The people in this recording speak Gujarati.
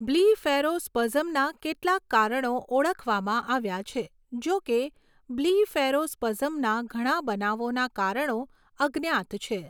બ્લિફેરોસ્પઝમના કેટલાક કારણો ઓળખવામાં આવ્યા છે, જોકે, બ્લિફેરોસ્પઝમના ઘણા બનાવોના કારણો અજ્ઞાત છે.